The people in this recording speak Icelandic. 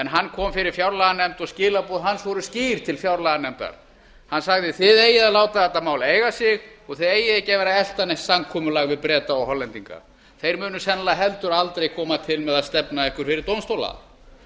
hann kom fyrir fjárlaganefnd og skilaboð hans voru skýr til fjárlaganefndar hann sagði þið eigið að láta þetta mál eiga sig og þið eigið ekki að vera elta neitt samkomulag við breta og hollendinga þeir munu sennilega heldur aldrei koma til með að stefna ykkur fyrir dómstóla